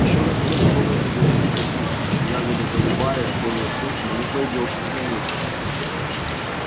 ещё растёт в болоте голубика кустиком ягода голубая более крупная не пройдёшь не заметив